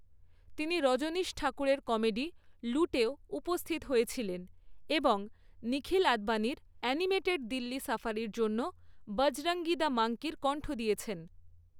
তিনি রজনীশ ঠাকুরের কমেডি লুটেও উপস্থিত হয়েছিলেন এবং নিখিল আদবানির অ্যানিমেটেড দিল্লি সাফারির জন্য বজরঙ্গী দ্য মাঙ্কির কণ্ঠ দিয়েছেন।